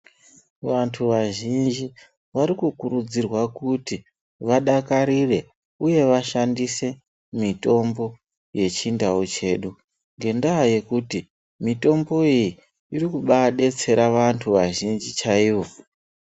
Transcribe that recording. Vanhu vazhinji varikukurudzirwa kuti vadakarire uye kushandisa mitombo yechindau chedu ngendaa yekuti mitombo iyi irikubaadetsera vanhu vazhinji chaivo.